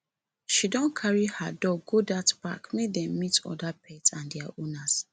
she don carry her dog go dat park make dem meet oda pet and their owners